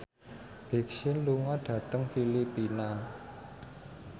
Big Sean lunga dhateng Filipina